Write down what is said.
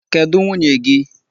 Kedụ nwunye gị?